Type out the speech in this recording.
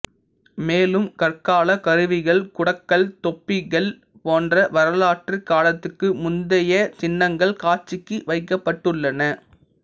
மேலும் கற்காலக் கருவிகள் குடக்கல் தொப்பி கல் போன்ற வரலாற்று காலத்துக்கு முந்தைய சின்னங்கள் காட்சிக்கு வைக்கபட்டுள்ளன